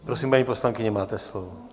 Prosím, paní poslankyně, máte slovo.